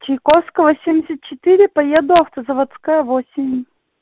чайковского семьдесять четыре поеду автозаводская восемь